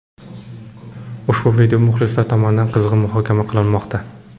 Ushbu video muxlislar tomonidan qizg‘in muhokama qilinmoqda.